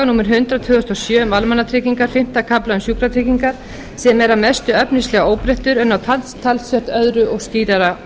númer hundrað tvö þúsund og sjö um almannatryggingar fimmta kafla um sjúkratryggingar sem er að mestu efnislega óbreyttur en á talsvert öðru og skýrara